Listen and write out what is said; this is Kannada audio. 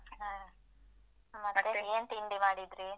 ಹಾ. ಮತ್ತೆ ಏನ್ ತಿಂಡಿ ಮಾಡಿದ್ರಿ?